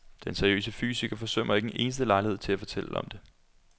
Den seriøse fysiker forsømmer ikke en eneste lejlighed til at fortælle om det.